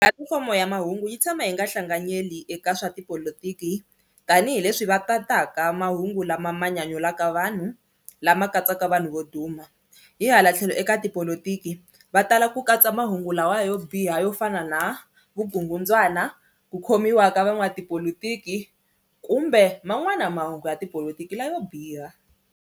fomo ya mahungu yi tshama yi nga hlanganyeli eka swa tipolotiki tanihileswi va tataka mahungu lama ma nyanyulaka vanhu lama katsaka vanhu vo duma hi hala tlhelo eka tipolotiki va tala ku katsa mahungu lawa yo biha yo fana na vugungundzwana, ku khomiwa ka van'wamatipolotiki kumbe man'wana mahungu ya tipolotiki la yo biha.